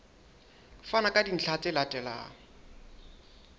fana ka dintlha tse latelang